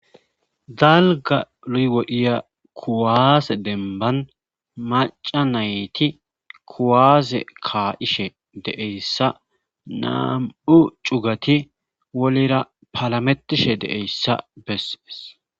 Dalga luywodiya kuwaase denban maca nayti kuwaaze kaa7ishe deeyssa nam7u cugati wolera palametishe deeyssa beses.